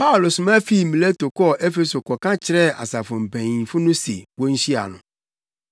Paulo soma fii Mileto kɔɔ Efeso kɔka kyerɛɛ asafo mpanyimfo no se wonhyia no.